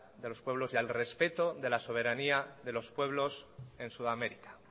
de los pueblos y al respeto de la soberanía de los pueblos en sudamérica